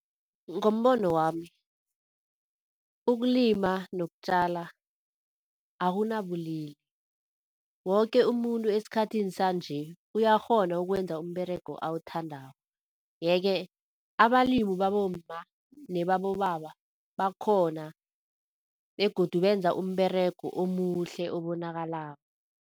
Ngombono wami ukulima nokutjala akunabulili, woke umuntu esikhathini sanje, uyakghona ukwenza umberego awuthandako. Yeke abalimi babomma nebabobaba bakhona begodu benza umberego omuhle obonakalako.